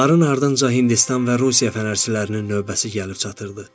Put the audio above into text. Onların ardınca Hindistan və Rusiya fənərçilərinin növbəsi gəlib çatırdı.